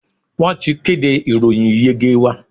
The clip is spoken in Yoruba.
Wọ́n ti kéde ìròyìn ìyege wa.